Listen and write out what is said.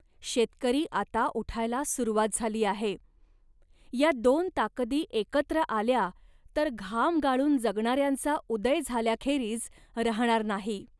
शेतकरी आता उठायला सुरवात झाली आहे. या दोन ताकदी एकत्र आल्या तर घाम गाळून जगणाऱ्यांचा उदय झाल्याखेरीज राहणार नाही